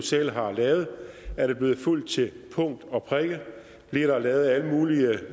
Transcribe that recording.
selv har lavet er blevet fulgt til punkt og prikke bliver der lavet alle mulige